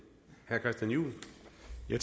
nu